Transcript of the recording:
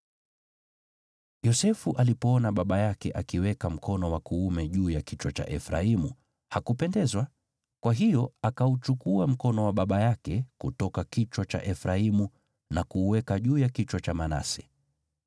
Yosefu alipoona baba yake akiweka mkono wa kuume juu ya kichwa cha Efraimu, hakupendezwa, kwa hiyo akauchukua mkono wa baba yake kutoka kichwa cha Efraimu na kuuweka juu ya kichwa cha Manase.